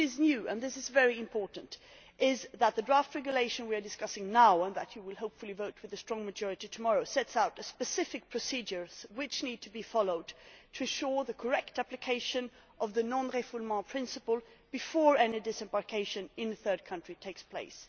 What is new and this is very important is that the draft regulation we are discussing now, and that you will hopefully vote for with a strong majority tomorrow, sets out specific procedures which need to be followed to ensure the correct application of the non refoulement principle, before any disembarkation in a third country takes place.